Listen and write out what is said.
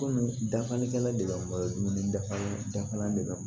Kɔmi dafalikɛla de bɛ bɔ a la dumuni dafalen dafalen